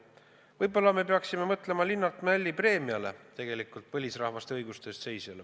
Võib-olla me peaksime mõtlema Linnart Mälli preemiale, mis antaks põlisrahvaste õiguste eest seisjale.